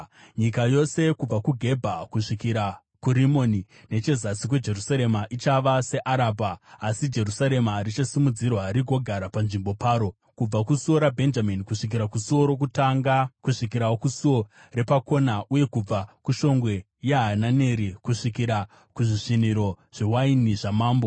Nyika yose kubva kuGebha kusvikira kuRimoni, nechezasi kweJerusarema, ichava seArabha. Asi Jerusarema richasimudzirwa rigogara panzvimbo paro, kubva kuSuo raBhenjamini kusvikira kuSuo Rokutanga, kusvikirawo kuSuo Repakona, uye kubva kuShongwe yaHananeri kusvikira kuzvisviniro zvewaini zvamambo.